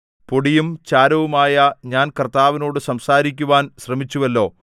പൊടിയും ചാരവുമായ ഞാൻ കർത്താവിനോട് സംസാരിക്കുവാൻ ശ്രമിച്ചുവല്ലോ